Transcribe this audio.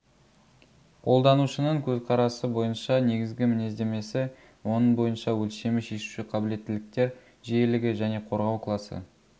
қолданушының көзқарасы бойынша негізгі мінездемесіне оның бойынша өлшемі шешуші қабілеттіліктер жиілігі және қорғау класы